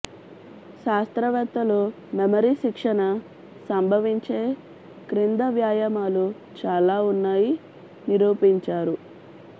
శాస్త్రవేత్తలు మెమరీ శిక్షణ సంభవించే క్రింద వ్యాయామాలు చాలా ఉన్నాయి నిరూపించారు